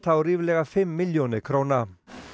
á ríflega fimm milljónir króna